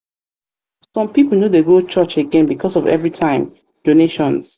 some people no dey go church again because of everytime donations.